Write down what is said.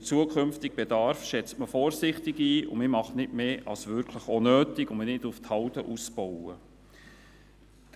Den zukünftigen Bedarf schätzt man vorsichtig ein und macht nicht mehr, als das, was wirklich auch nötig ist, damit man nicht auf Halde bauen muss.